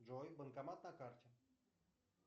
джой банкомат на карте